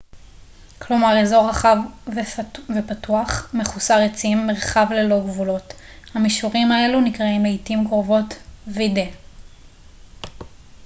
"המישורים האלו נקראים לעתים קרובות "vidde" כלומר אזור רחב ופתוח מחוסר עצים מרחב ללא גבולות.